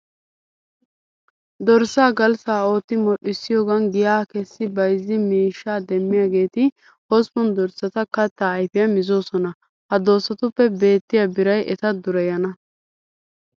Dorssaa galssa ootti modhdhissiyogan giyaa kessi bayzzi miishshaa demmiyageeti hosppun dorssata kattaa ayfiya mizoosona. Ha dossatuppe beettiya biray eta dureyana.